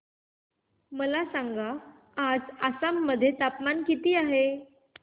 मला सांगा आज आसाम मध्ये तापमान किती आहे